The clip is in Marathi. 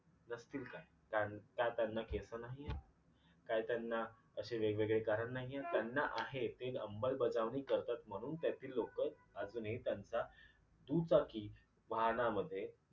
नसतील का? त्यान का त्यांना केसं नाहीयेत? काय त्यांना अशी वेगवेगळी कारण नाही आहेत? त्यानां आहेत ते अमंलबजावणी करतात म्हणून त्यांची लोक अजूनही त्यांचा दुचाकी वाहनामध्ये